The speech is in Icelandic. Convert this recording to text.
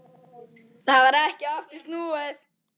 Það varð ekki aftur snúið.